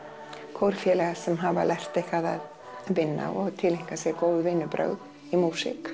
kórfélaga sem hafa lært eitthvað að vinna og tileinka sér góð vinnubrögð í músík